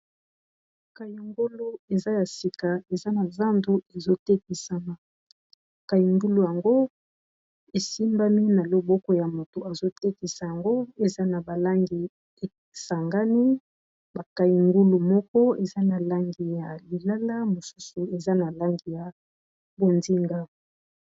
kayungulu eza ya sika eza na zandu ezo tekisama, kayungulu yango esimbami na loboko ya moto azo tekisa yango. Eza na ba langi esangani ba kayungulu moko eza na langi ya lilala, mosusu eza na langi ya bonzinga.